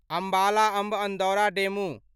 Ambala Amb Andaura DEMU